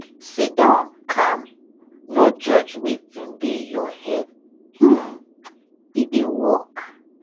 siddon calm no judge wetin dey your head um e dey work